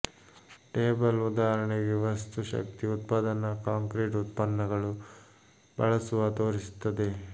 table ಉದಾಹರಣೆಗೆ ವಸ್ತು ಶಕ್ತಿ ಉತ್ಪಾದನಾ ಕಾಂಕ್ರೀಟ್ ಉತ್ಪನ್ನಗಳು ಬಳಸುವ ತೋರಿಸುತ್ತದೆ